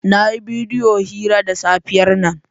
Na yi bidiyo hira da safiyar nan.